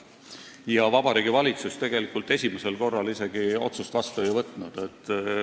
Tegelikult Vabariigi Valitsus esimesel korral isegi otsust vastu ei võtnud.